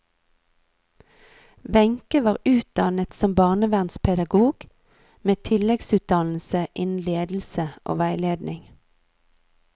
Wenche var utdannet som barnevernspedagog, med tilleggsutdannelse innen ledelse og veiledning.